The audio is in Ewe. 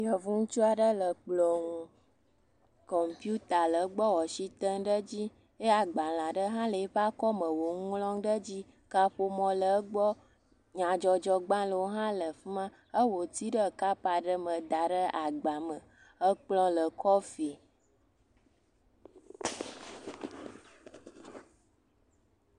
Yevu ŋutsu aɖe le kplɔ̃ ŋu. Kɔmpita le gbɔ eye wo asi tem ɖe edzi ye agbalẽ aɖe hã le eƒe akɔme wole nu ŋlɔm ɖe edzi. Kaƒomɔ le egbɔ, nyadzɔdzɔgbalẽwo hã le afi ma. Ewɔ tea ɖe kɔpu aɖe me da ɖe agba me. Kplɔ̃ le kɔfi.